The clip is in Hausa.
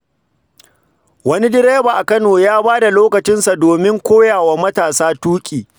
Wani direba a Kano ya bada lokacinsa don koya wa matasa tuki.